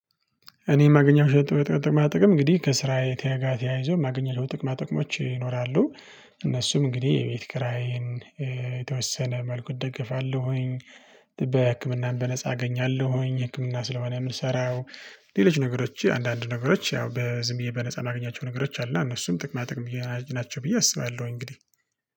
እኔ የማገኘው ሸጥኩት ጥቅማ ጥቅም እንግዲህ ከስራ የተያያዘው የማገኘው ጥቅማ ጥቅሞች ይኖራሉ። እነሱም እንግዲህ የቤት ክራዬን የተወሰነ መልኩ እደግፋለሁኝ። በህክምናም በነፃ አገኛለሁኝ ህክምና ስለሆነ የምንሰራው። ሌሎች ነገሮች አንዳንድ ነገሮች ያው በዝም ብዬ በነፃ የማገኛቸው ነገሮች አሉ። እና እነሱም ጥቅማ ጥቅም ናቸው ብዬ አስባለሁ። እንግዲህ